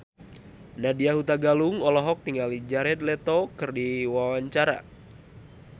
Nadya Hutagalung olohok ningali Jared Leto keur diwawancara